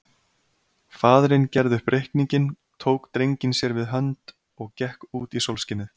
Faðirinn gerði upp reikninginn, tók drenginn sér við hönd og gekk út í sólskinið.